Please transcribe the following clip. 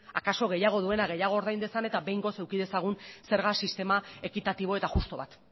akaso gehiago duena gehiago ordain dezan eta behingoz eduki dezagun zerga sistema ekitatibo eta justu bat